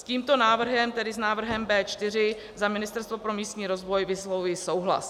S tímto návrhem, tedy návrhem B4, za Ministerstvo pro místní rozvoj vyslovuji souhlas.